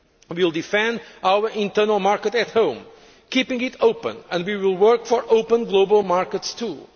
We will defend our internal market at home, keeping it open, and we will work for open, global markets too.